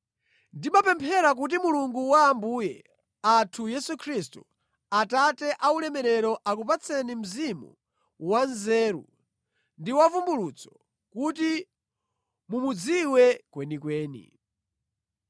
Ndimapemphera kuti Mulungu wa Ambuye athu Yesu Khristu, Atate a ulemerero akupatseni mzimu wa nzeru ndi wa vumbulutso, kuti mumudziwe kwenikweni.